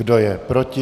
Kdo je proti?